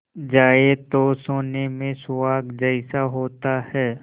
जाए तो सोने में सुहागा जैसा होता है